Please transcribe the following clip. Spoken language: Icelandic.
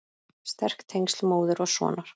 Sterk tengsl móður og sonar.